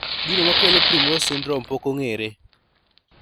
Gino makelo primrose syndrome pok ong'ere